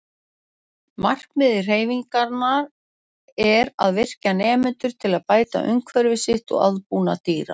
Markmið hreyfingarinnar er að virkja nemendur til að bæta umhverfi sitt og aðbúnað dýra.